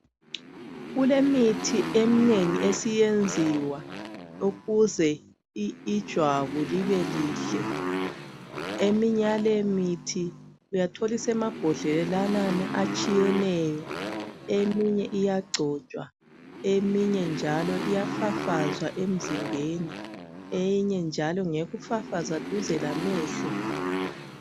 Kulemithi eminengi esiyenziwa ukuze ijwabu libelihle eminye yalemithi uyathola isemabhodlelanani atshiyeneyo eminye iyagcotshwa eminye njalo iyafafazwa emzimbeni eyinye njalo ngeyokufafaza duze lamehlo